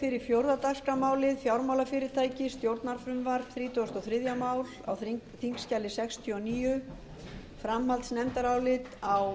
frú forseti ég mæli hér fyrir framhaldsnefndaráliti meiri hluta háttvirtur viðskiptanefndar sem er að finna á